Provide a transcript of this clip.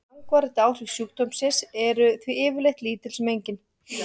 Langvarandi áhrif sjúkdómsins eru því yfirleitt lítil sem engin.